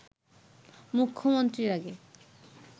মুখ্যমন্ত্রীর আগে